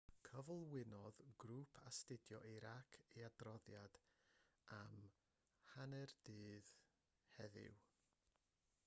cyflwynodd grŵp astudio irac ei adroddiad am 12.00 gmt heddiw